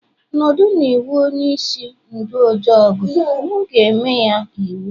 nọdu l'iwhu onye-ishi ndu ojọgu, mu e-me ya iwu